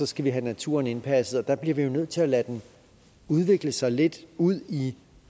skal have naturen indpasset og der bliver vi jo nødt til at lade den udvikle sig lidt ud i